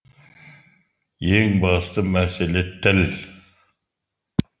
ең басты мәселе тіл